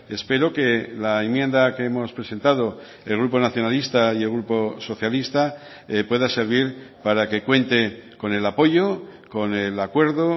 espero que la enmienda que hemos presentado el grupo nacionalista y el grupo socialista pueda servir para que cuente con el apoyo con el acuerdo